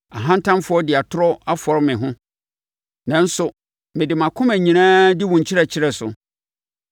Ahantanfoɔ de atorɔ afɔre me ho, nanso mede mʼakoma nyinaa di wo nkyerɛkyerɛ so.